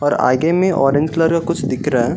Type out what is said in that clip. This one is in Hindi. और आगे में ऑरेंज कलर का कुछ दिख रहा है।